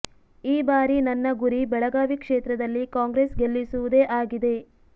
ಈ ಬಾರಿ ನನ್ನ ಗುರಿ ಬೆಳಗಾವಿ ಕ್ಷೇತ್ರದಲ್ಲಿ ಕಾಂಗ್ರೆಸ್ ಗೆಲ್ಲಿಸುವುದೇ ಆಗಿದೆ